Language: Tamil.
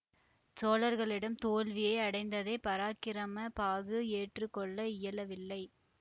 சோழர்களிடம் தோல்வியை அடைந்ததை பராக்கிரம பாகு ஏற்று கொள்ள இயலவில்லை